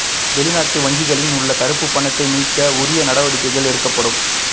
வெளிநாட்டு வங்கிகளில் உள்ள கருப்பு பணத்தை மீட்க உரிய நடவடிக்கைகள் எடுக்கப்படும்